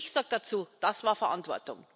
Und ich sage dazu Das war Verantwortung!